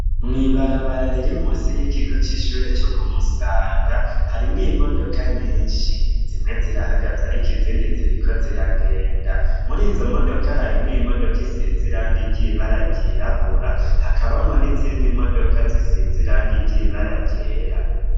Mwibarabarariri musi y'ikigo c'ishure co kumusaga harimwo imodoka nyinshi zimwe zirahagaze, ariko izindi ziriko ziragenda muri izo modoka harimwo imodoka isiziranga iryibararyirabura hakabamwa n'izindi modoka zisiziranga iryibararyera.